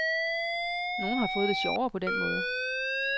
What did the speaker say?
Nogle har fået det sjovere på den måde.